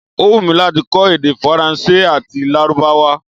Ó wùnmí láti kọ́ èdè Faransé àti Lárúbáwá